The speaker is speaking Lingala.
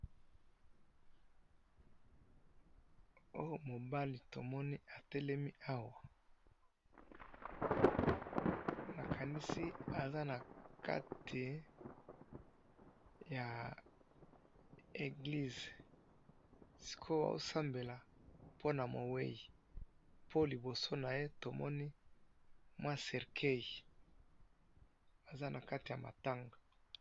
oyo mobali tomoni atelemi awa nakandisi aza nakati ya eglise sikoyo azo sambela pona moweyi po liboso naye tomoni mwa cercueil aza nakati ya matanga.